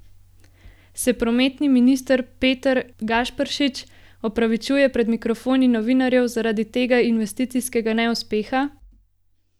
Se prometni minister Peter Gašperšič opravičuje pred mikrofoni novinarjev zaradi tega investicijskega neuspeha?